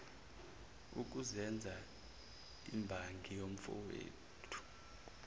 ukuzenza imbangi yomfowethu